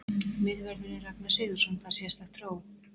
Miðvörðurinn Ragnar Sigurðsson fær sérstakt hró.